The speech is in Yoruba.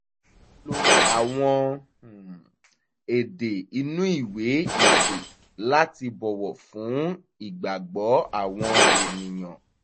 a lo àwọn um èdè inú ìwé ìpè láti bọ̀wọ̀ fún ìgbàgbọ́ àwọn ènìyàn